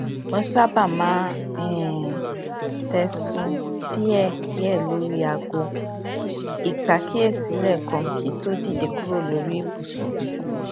mo sábà máa ń um tẹ sunun díẹdíẹ lórí aago ìpàkíyèsí léèkan kí n tó dìde kúrò lórí ibùsùn